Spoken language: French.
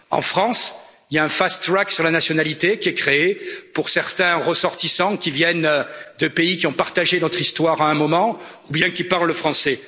En France, il y a un fast track sur la nationalité qui est créé pour certains ressortissants qui viennent de pays qui ont partagé notre histoire à un moment ou bien qui parlent français.